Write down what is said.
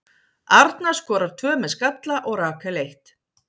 Arna skorar tvö með skalla og Rakel eitt.